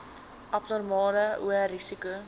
abnormale hoë risiko